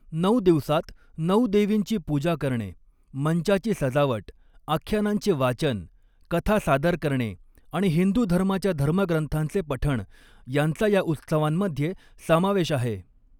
नऊ दिवसांत नऊ देवींची पूजा करणे, मंचाची सजावट, आख्यानांचे वाचन, कथा सादर करणे आणि हिंदू धर्माच्या धर्मग्रंथांचे पठण यांचा या उत्सवांमध्ये समावेश आहे.